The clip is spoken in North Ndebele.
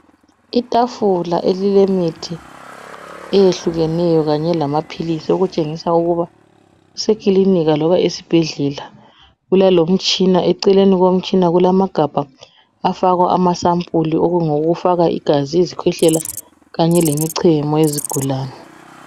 Itafula elilemithi eyehlukeneyo kanye lamaphilisi okutshengisa ukuba kusekilinika loba esibhedlela kulalomitshina eceleni komtshina kulamagabha afakwa amasapuli okungokufaka igazi, izikhwehlela kanye lemichemo yezigulani.